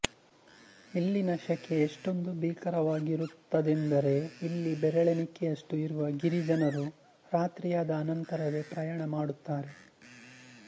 ಇಲ್ಲಿನ ಶೆಖೆ ಎಷ್ಟೊಂದು ಭೀಕರವಾಗಿರುತ್ತದೆಂದರೆ ಇಲ್ಲಿ ಬೆರಳೆನಿಕೆಯಷ್ಟು ಇರುವ ಗಿರಿಜನರೂ ರಾತ್ರಿಯಾದ ಅನಂತರವೆ ಪ್ರಯಾಣ ಮಾಡುತ್ತಾರೆ